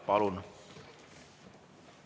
Palun!